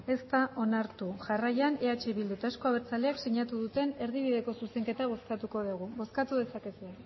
ez da onartu jarraian eh bildu eta euzko abertzaleak sinatu duten erdibideko zuzenketa bozkatuko dugu bozkatu dezakegu